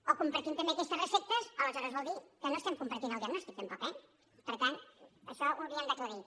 o compartim també aquestes receptes o aleshores vol dir que no estem compartint el diagnòstic tampoc eh per tant això ho hauríem d’aclarir